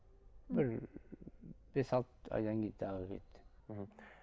бір бес алты айдан кейін тағы кетті мхм